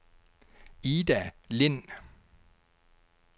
Ida Lind